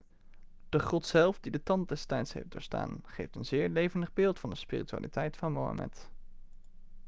de grot zelf die de tand des tijds heeft doorstaan geeft een zeer levendig beeld van de spiritualiteit van mohammed